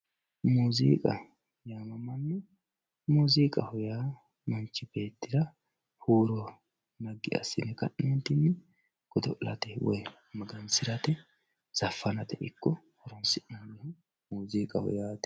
Muziiqa, muziiqaho yaa manchi beettira huuro naggi asse godo'late woyi magansirate zafanate ikko muziiqaho yaate.